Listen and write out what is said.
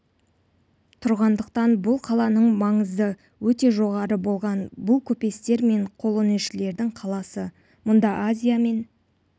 тұрғандықтан бұл қаланың маңызы өте жоғары болған бұл көпестер мен қолөнершілердің қаласы мұнда азия мен